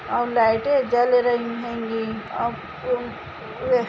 और लाइटे जल रही हेंगी यह--